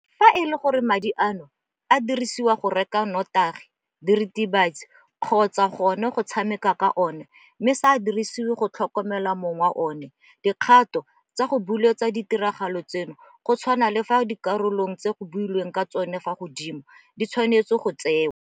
Fa e le gore madi ano a dirisediwa go reka notagi, diritibatsi kgotsa gona go tshameka ka ona mme a sa dirisediwe go tlhokomela mong wa ona, dikgato tsa go buletsa ditiragalo tseno go tshwana le fa dikarolong tse go boletsweng ka tsona fa godimo di tshwanetswe go tsewa.